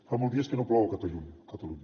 fa molts dies que no plou a catalunya